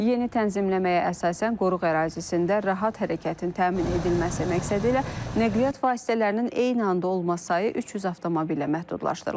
Yeni tənzimləməyə əsasən qoruq ərazisində rahat hərəkətin təmin edilməsi məqsədilə nəqliyyat vasitələrinin eyni anda olması sayı 300 avtomobillə məhdudlaşdırılıb.